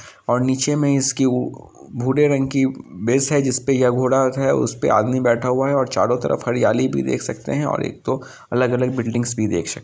और नीचे में इसकी उ भूरे रंग की बेस है जिसपे ये घोड़ा रखा है। उस पे आदमी बैठा हुआ है और चारो तरफ हरियाली भी देख सकते हैं और एक दो अलग-अलग बिल्डिंग्स भी देख सक --